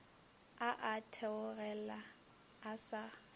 a a theogela a sa